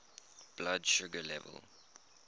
blood sugar level